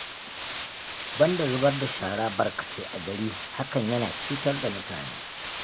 Banda zubar da shara barkatai a gari, hakan yana cutar da mutane